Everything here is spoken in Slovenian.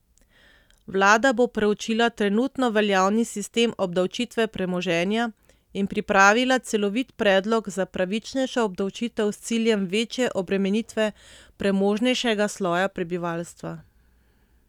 Vlada bo preučila trenutno veljavni sistem obdavčitve premoženja in pripravila celovit predlog za pravičnejšo obdavčitev s ciljem večje obremenitve premožnejšega sloja prebivalstva.